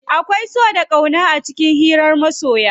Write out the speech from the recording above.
Akwai so da ƙauna a cikin hiran masoya.